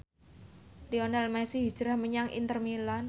Lionel Messi hijrah menyang Inter Milan